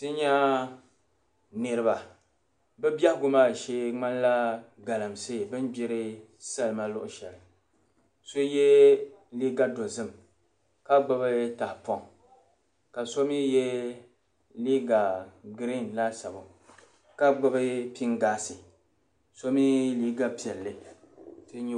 Ti nya niriba. Be biɛhigu maa shee ŋmanila galamsey, bin' gbiri salima luɣushɛli. So yɛ liiga dozim ka gbibi tahipɔŋ. Ka so mi yɛ liiga green laasabu ka gbibi pingaasi. So mii, liiga piɛlli.